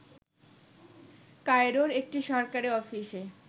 কায়রোর একটি সরকারি অফিসে